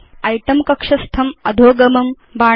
इतें कक्षस्थम् अधोगमं नुदतु